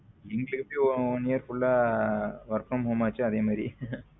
எங்களுக்கு எப்பிடி one year full ஆ work from home ஆசோ அதே மாரி.